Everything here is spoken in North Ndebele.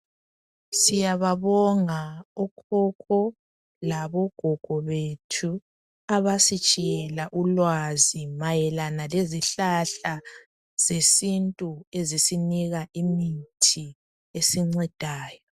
Siyababonga okhokho labo gogo bethu abasitshiyela ulwazi mayelana lezihlahla zesintu ezisinika imithi esincedayo .